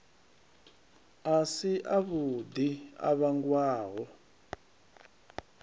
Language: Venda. a si avhuḓi a vhangwaho